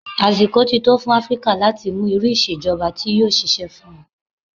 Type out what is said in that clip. Àsìkò ti tó fún Áfríkà láti mú irú ìṣèjọba tí yóò ṣiṣẹ́ fún wọn.